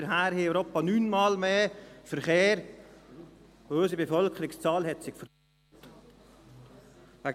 Seither haben wir etwa neunmal mehr Verkehr, und unsere Bevölkerungszahl hat sich verdoppelt.